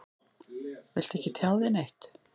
Viltu ekki tjá þig neitt?